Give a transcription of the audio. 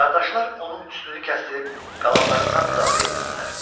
qardaşlar onun üstünü kəsdərib qalanlarından müdafiə edirdilər.